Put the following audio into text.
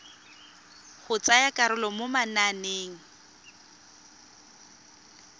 go tsaya karolo mo mananeng